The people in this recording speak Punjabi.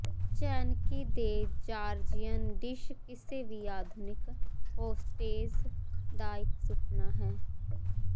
ਚੈਨਕਿ ਦੇ ਜਾਰਜੀਅਨ ਡਿਸ਼ ਕਿਸੇ ਵੀ ਆਧੁਨਿਕ ਹੋਸਟੇਸ ਦਾ ਇਕ ਸੁਪਨਾ ਹੈ